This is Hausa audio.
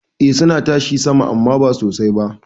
Eh suna tashi sama amman ba sosai ba.